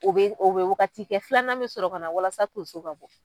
U bɛ u bɛ waagati kɛ, filanan bɛ sɔrɔ ka na walasa tonso ka bɔ.